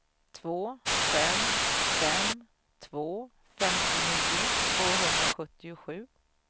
två fem fem två femtionio tvåhundrasjuttiosju